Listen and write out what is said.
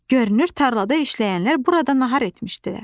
Görünür, tarlada işləyənlər burada nahar etmişdilər.